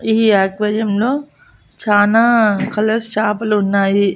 ఈ ఆక్వేరియంలో చానా కలర్స్ చాపలు ఉన్నాయి.